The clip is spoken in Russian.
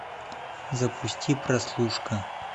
запусти прослушка